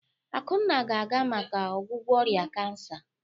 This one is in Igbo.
Akunna ga-aga maka ọgwụgwọ ọrịa kansa.